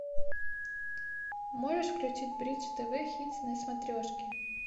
можешь включить бридж тв хитс на смотрешке